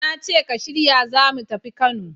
Na ce ka shirya za mu tafi Kano!